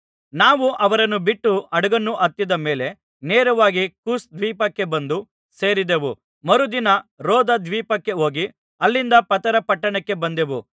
ನಾವು ಅವರನ್ನು ಬಿಟ್ಟು ಹಡಗನ್ನು ಹತ್ತಿದ ಮೇಲೆ ನೇರವಾಗಿ ಕೋಸ್‍ ದ್ವೀಪಕ್ಕೆ ಬಂದು ಸೇರಿದೆವು ಮರುದಿನ ರೋದ ದ್ವೀಪಕ್ಕೆ ಹೋಗಿ ಅಲ್ಲಿಂದ ಪತರ ಪಟ್ಟಣಕ್ಕೆ ಬಂದೆವು